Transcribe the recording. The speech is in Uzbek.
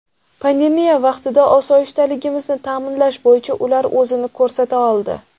Pandemiya vaqtida osoyishtaligimizni ta’minlash bo‘yicha ular o‘zini ko‘rsata oldi.